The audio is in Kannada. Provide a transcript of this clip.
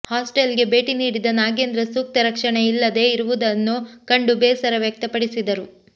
ಹಾಸ್ಟೆಲ್ಗೆ ಭೇಟಿ ನೀಡಿದ ನಾಗೇಂದ್ರ ಸೂಕ್ತ ರಕ್ಷಣೆ ಇಲ್ಲದೇ ಇರುವುದನ್ನು ಕಂಡು ಬೇಸರ ವ್ಯಕ್ತಪಡಿಸಿದರು